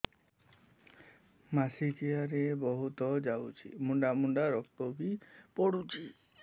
ମାସିକିଆ ରେ ବହୁତ ଯାଉଛି ମୁଣ୍ଡା ମୁଣ୍ଡା ରକ୍ତ ବି ପଡୁଛି